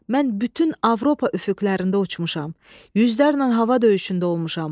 Mən bütün Avropa üfüqlərində uçmuşam, yüzlərlə hava döyüşündə olmuşam.